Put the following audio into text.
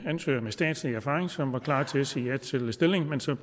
ansøgere med statslig erfaring som var klar til at sige ja til stillingen men som